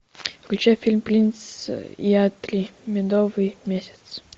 включай фильм принц и я три медовый месяц